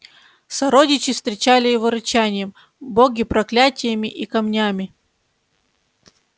сородичи встречали его рычанием боги проклятиями и камнями